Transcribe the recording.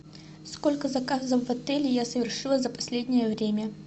сколько заказов в отеле я совершила за последнее время